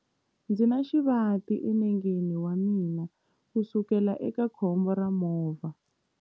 Ndzi na xivati enengeni wa mina kusukela eka khombo ra movha.